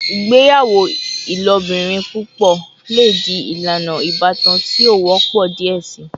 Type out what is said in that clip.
Igbeyawo ilobirin pupọ le di ilana ibatan ti o wọpọ diẹ sii